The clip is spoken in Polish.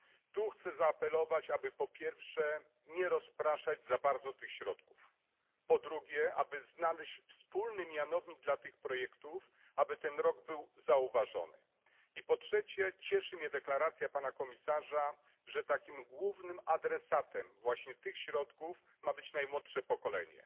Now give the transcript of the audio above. Tu chcę zaapelować, aby po pierwsze, nie rozpraszać za bardzo tych środków, po drugie, aby znaleźć wspólny mianownik dla tych projektów, aby ten rok był zauważony, i po trzecie cieszy mnie deklaracja pana komisarza, że głównym adresatem tych środków ma być najmłodsze pokolenie.